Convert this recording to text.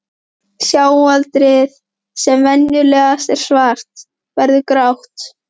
Sjáaldrið, sem venjulegast er svart, verður grátt.